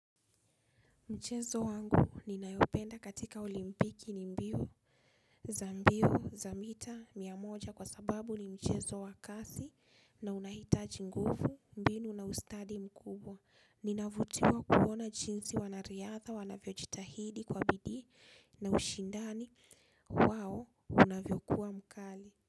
Mchezo wangu ninayopenda katika olimpiki ni mbio za mbio za mita mia moja kwa sababu ni mchezo wa kasi na unahitaji nguvu mbinu na ustadi mkubwa. Ninavutiwa kuona jinsi wana riadha wanavyo jitahidi kwa bidii na ushindani wao unavyo kuwa mkali.